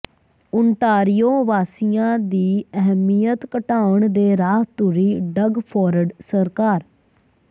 Ontario ਵਾਸੀਆਂ ਦੀ ਅਹਿਮੀਅਤ ਘਟਾਉਣ ਦੇ ਰਾਹ ਤੁਰੀ ਡਗ ਫ਼ੋਰਡ ਸਰਕਾਰ